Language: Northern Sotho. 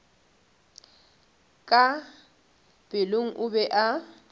ka pelong o be a